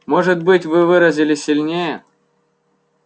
может быть вы выразились сильнее